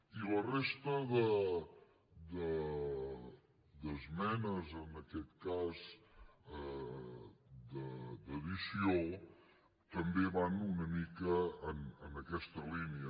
i la resta d’esmenes en aquest cas d’addició també van una mica en aquesta línia